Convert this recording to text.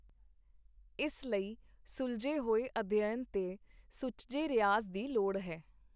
ਇਸ ਲਈ ਸੁਲਝੇ ਹੋਏ ਅਧਿਐਨ ਤੇ ਸੁਚੱਜੇ ਰਿਆਜ਼ ਦੀ ਲੋੜ ਹੈ.